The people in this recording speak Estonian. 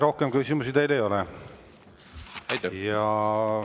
Rohkem küsimusi teile ei ole.